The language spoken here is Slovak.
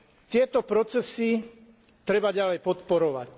Tieto procesy treba ďalej podporovať.